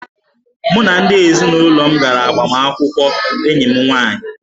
Mụ na ndị ezinụlọ m gara agbamakwụkwọ enyi m nwaanyị